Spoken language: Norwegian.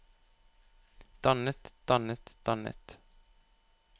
dannet dannet dannet